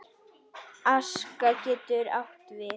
Aska getur átt við